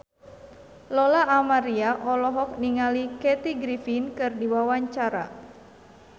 Lola Amaria olohok ningali Kathy Griffin keur diwawancara